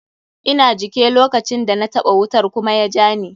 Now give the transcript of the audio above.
Ina jike lokacin da na taɓa wutar kuma ya jani.